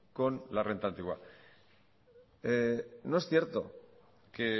con la renta antigua no es cierto que